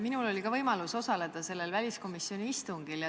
Minul oli ka võimalus osaleda sellel väliskomisjoni istungil.